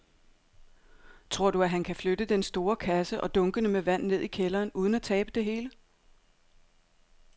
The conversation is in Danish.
Tror du, at han kan flytte den store kasse og dunkene med vand ned i kælderen uden at tabe det hele?